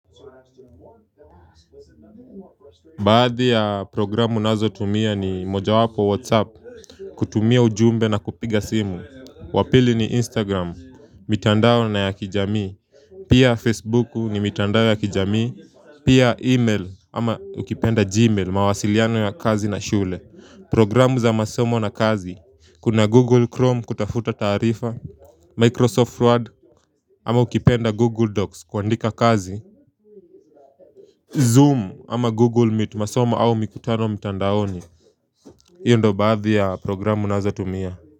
Baadhi ya programu nazo tumia ni moja wapo Whatsapp, kutumia ujumbe na kupiga simu. Wapili ni Instagram mitandao na ya kijamii Pia Facebook ni mitandao ya kijamii Pia email ama ukipenda Gmail mawasiliano ya kazi na shule. Programu za masomo na kazi Kuna Google Chrome kutafuta tarifa Microsoft Word ama ukipenda Google Docs kwa andika kazi Zoom ama Google meet masoma au mikutano mitandaoni hiyo ndo badhi ya programu nazo tumia.